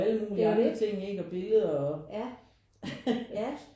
Det er jo det ja ja